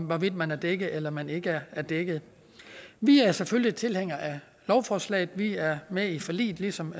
hvorvidt man er dækket eller man ikke er dækket vi er selvfølgelig tilhængere af lovforslaget vi er med i forliget ligesom